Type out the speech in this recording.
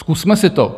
Zkusme si to.